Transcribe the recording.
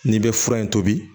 N'i bɛ fura in tobi